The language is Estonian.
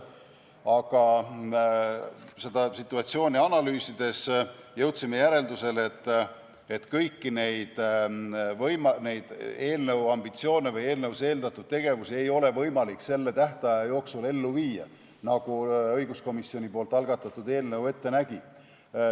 Seda situatsiooni analüüsides jõudsime järeldusele, et kõiki neid eelnõu ambitsioone või eelnõus eeldatud tegevusi ei ole võimalik selle tähtaja jooksul ellu viia nii, nagu õiguskomisjoni algatatud eelnõu ette nägi.